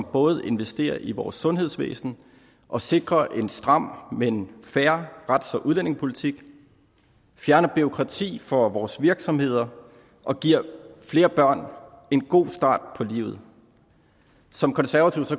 både investerer i vores sundhedsvæsen og sikrer en stram men fair rets og udlændingepolitik fjerner bureaukrati for vores virksomheder og giver flere børn en god start på livet som konservativ